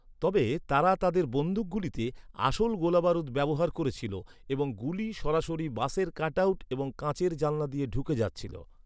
তবে, তারা তাদের বন্দুকগুলিতে আসল গোলাবারুদ ব্যবহার করছিল এবং গুলি সরাসরি বাসের কাটআউট এবং কাঁচের জানালা দিয়ে ঢুকে যাচ্ছিল।